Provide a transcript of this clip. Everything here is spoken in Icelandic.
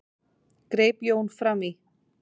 greip Jón fram í.